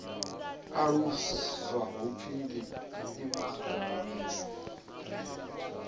aluswa hu pfi ndi imaga